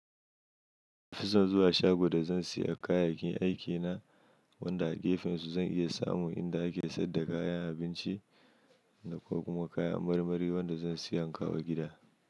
Fison zuwa shago da zan saya kayayyakin aikina, wanda a gefensu zan iya samu inda ake sayar da kayan abinci da kuma kayan marmari wanda zan saya kawo gida.